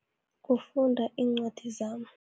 Kufunda iincwadi zami.